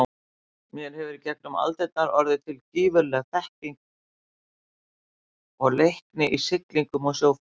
Hér hefur í gegnum aldirnar orðið til gífurleg þekking og leikni í siglingum og sjóferðum.